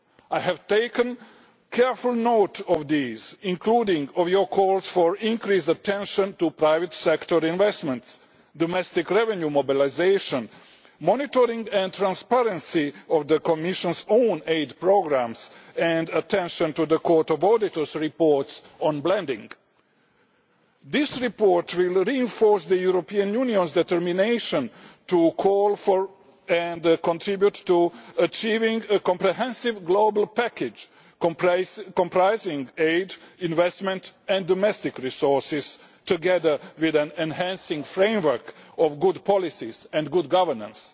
I have taken careful note of these including Member's calls for increased attention to private sector investments, domestic revenue mobilisation, monitoring and transparency of the Commission's own aid programmes and attention to the Court of Auditors' reports on blending. This report will reinforce the European Union's determination to call for and contribute to achieving a comprehensive global package comprising aid, investment and domestic resources, together with an enhancing framework of good policies and good governance.